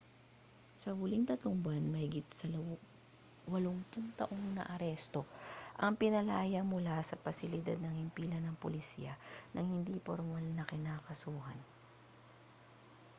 sa huling 3 buwan mahigit sa 80 taong naaresto ang pinalaya mula sa pasilidad ng himpilan ng pulisya nang hindi pormal na kinakasuhan